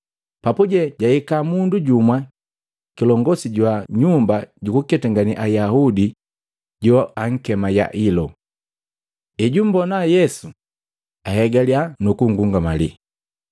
Papuje jahika mundu jumwa kilongosi jwa nyumba jukuketangane Ayaudi joankema Yailo. Ejumbona Yesu, ahegalya nu kungungamali,